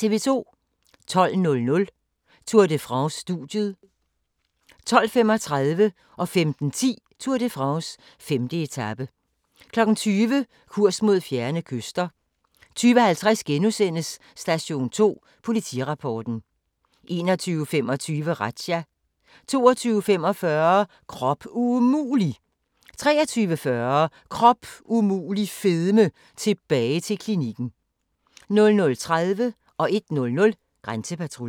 12:00: Tour de France: Studiet 12:35: Tour de France: 5. etape 15:10: Tour de France: 5. etape 20:00: Kurs mod fjerne kyster 20:50: Station 2: Politirapporten * 21:25: Razzia 22:45: Krop umulig! 23:40: Krop umulig fedme - tilbage til klinikken 00:30: Grænsepatruljen 01:00: Grænsepatruljen